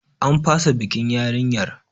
An fasa bikin yarinyar.